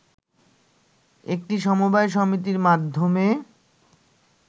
একটি সমবায় সমিতির মাধ্যমে